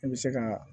I bɛ se ka